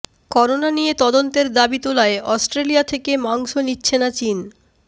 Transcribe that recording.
corona নিয়ে তদন্তের দাবি তোলায় অস্ট্রেলিয়া থেকে মাংস নিচ্ছে না চীন